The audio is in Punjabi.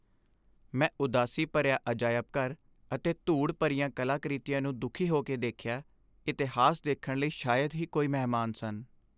ਮੈਂ ਉਦਾਸੀ ਭਰਿਆ ਅਜਾਇਬ ਘਰ ਅਤੇ ਧੂੜ ਭਰੀਆਂ ਕਲਾਕ੍ਰਿਤੀਆਂ ਨੂੰ ਦੁੱਖੀ ਹੋ ਕੇ ਦੇਖਿਆ ਇਤਿਹਾਸ ਦੇਖਣ ਲਈ ਸ਼ਾਇਦ ਹੀ ਕੋਈ ਮਹਿਮਾਨ ਸਨ